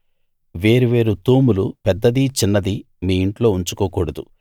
వేరు వేరు తూములు పెద్దదీ చిన్నదీ మీ ఇంట్లో ఉంచుకోకూడదు